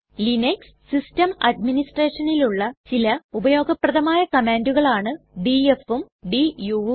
Linux system അട്മിനിസ്റ്റ്രെഷനിലുള്ള ചില ഉപയോഗപ്രദമായ കമ്മാണ്ടുകളാണ് dfഉം duഉം